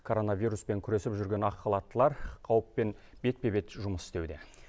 коронавируспен күресіп жүрген ақ халаттылар қауіппен бетпе бет жұмыс істеуде